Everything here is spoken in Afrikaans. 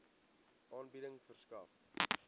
aanbieding verskaf